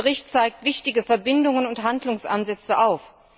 Der Bericht zeigt wichtige Verbindungen und Handlungsansätze auf.